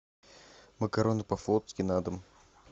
макароны по флотски на дом